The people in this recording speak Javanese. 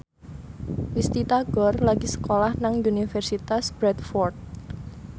Risty Tagor lagi sekolah nang Universitas Bradford